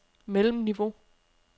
mellemniveau